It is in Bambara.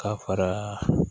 Ka fara